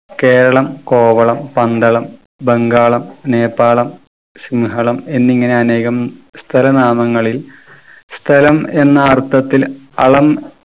കേരളം കോവളം പന്തളം ബംഗാളം നേപ്പാളം ശിംഹളം എന്നിങ്ങനെ അനേകം സ്ഥല നാമങ്ങളിൽ സ്ഥലം എന്ന അർത്ഥത്തിൽ അളം